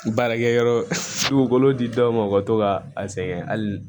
Baarakɛ yɔrɔ di dɔw ma u ka to ka a sɛgɛn hali